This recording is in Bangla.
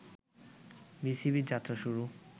বিসিবির যাত্রা শুরু